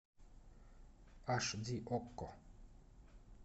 аш ди окко